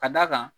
Ka d'a kan